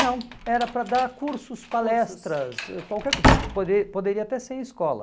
Não, era para dar cursos, palestras, qualquer coisa, pode poderia até ser em escola.